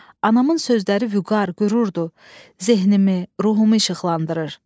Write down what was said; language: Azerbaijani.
Anamın sözləri vüqar, qürurdur, zehnimi, ruhumu işıqlandırır.